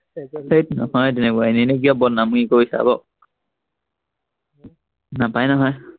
ধেত নহয় তেনেকুৱা, এনেই এনেই কিয় বদনামখিনি কৰি থাক নাপায় নহয়